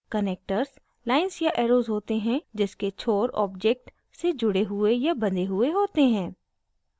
connectors lines या arrows होते हैं जिसके छोर object से जुड़े हुए या बँधे हुए होते हैं